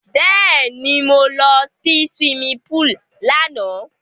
Bẹ́ẹ̀ni, mo lọ sí suwimi púùlù lánàá.